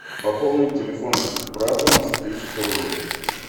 пополнить телефон брата на тысячу рублей